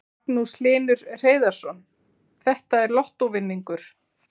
Magnús Hlynur Hreiðarsson: Þetta er lottóvinningur?